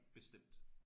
Bestemt